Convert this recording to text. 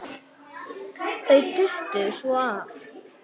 Þau duttu svo oft af.